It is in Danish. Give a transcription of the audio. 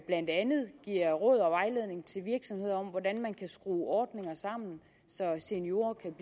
blandt andet giver råd og vejledning til virksomheder om hvordan man kan skrue ordninger sammen så seniorer kan